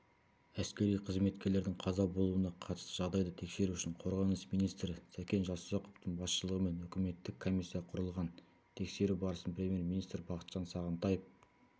әскери қызметкерлердің қаза болуына қатысты жағдайды тексеру үшін қорғаныс министрі сәкен жасұзақовтың басшылығымен үкіметтік комиссия құрылған тексеру барысын премьер-министр бақытжан сағынтаев